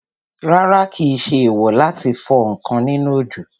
Rárá, kìí ṣe èèwò láti fọ ǹkan nínú òjò